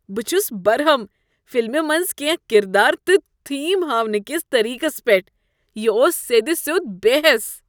بہ چھُس برہم فلمہ منٛز کینہہ کردار تہٕ تھیم ہاونہٕ کس طریقس پیٹھ۔ یہ اوس سیٚد سیوٚد بے حیس۔